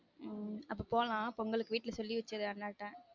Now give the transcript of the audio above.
உம் அப்ப போலான் பொங்கலுக்கு வீட்ல சொல்லி வச்சுரு அண்ணாட்ட